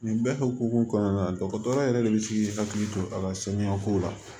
Nin bɛɛ hukumu kɔnɔna na dɔgɔtɔrɔya yɛrɛ de bɛ k'i hakili to a la saniya kow la